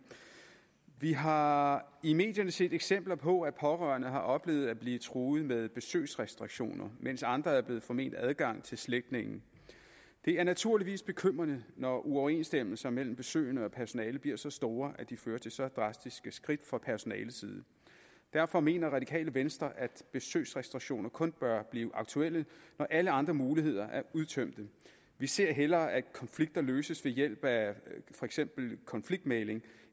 vi har i medierne set eksempler på at pårørende har oplevet at blive truet med besøgsrestriktioner mens andre er blevet forment adgang til slægtninge det er naturligvis bekymrende når uoverenstemmelser mellem besøgende og personale bliver så store at de fører til så drastiske skridt fra personaleside derfor mener radikale venstre at besøgsrestriktioner kun bør blive aktuelle når alle andre muligheder er udtømte vi ser hellere at konflikter løses ved hjælp af for eksempel konfliktmægling